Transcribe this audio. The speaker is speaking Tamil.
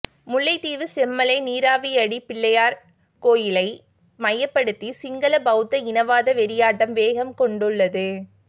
முல்லைத்தீவு செம்மலை நீராவியடிப் பிள்ளையார் கோவிலை மையப்படுத்தி சிங்கள பௌத்த இனவாத வெறியாட்டம் வேகம் கொண்டுள்ளது